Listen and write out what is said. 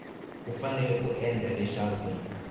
u fanele ku endla leswaku